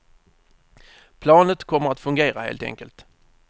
Planet kommer att fungera, helt enkelt.